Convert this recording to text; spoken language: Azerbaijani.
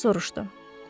Atası soruşdu.